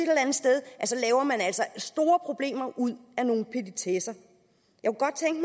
altså at store problemer ud af nogle petitesser jeg